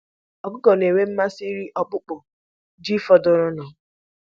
Ọkụkọ na-enwe mmasị iri akpụkpọ ji fọdụrụnụ.